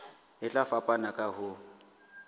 e tla fapana ka ho